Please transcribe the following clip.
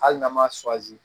Hali n'an ma